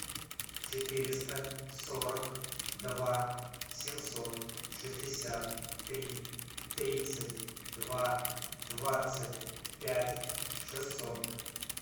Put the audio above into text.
четыреста сорок два семьсот шестьдесят три тридцать два двадцать пять шестьсот